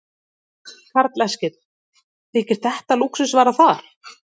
Karl Eskil: Þykir þetta lúxusvara þar?